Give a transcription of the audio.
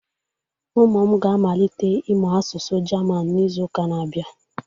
Ụmụ m ga-amalite ịmụ asụsụ German n'izu ụka na-abịa